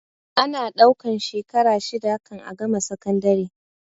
Ana ɗaukan shekara shida kan a gama sakandare